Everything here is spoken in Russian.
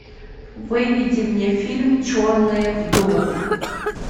выведи мне фильм черные вдовы